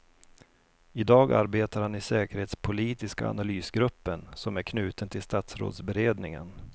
I dag arbetar han i säkerhetspolitiska analysgruppen som är knuten till statsrådsberedningen.